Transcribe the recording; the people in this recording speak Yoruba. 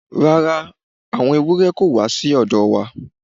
Rara, awọn ewurẹ ko wa si ọ̀dọ̀ wa